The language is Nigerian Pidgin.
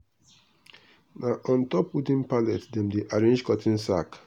na on top wooden pallet dem dey arrange cotton sack.